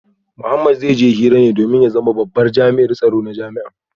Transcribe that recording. Mohammed zai je hira ne domin ya zama babban jami’in tsaro na jami’ar